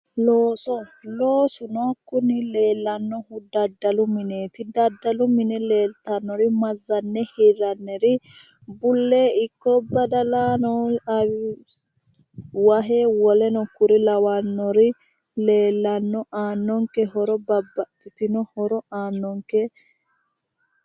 Looso. Loosuno kuni leellannohu daddalu mineeti. Daddalu mine leeltannori mazzanne hirranniri bullee ikko badalano wahe woleno kuri lawannori leellanno. Aannonke horo babbaxxitino horo aannonke.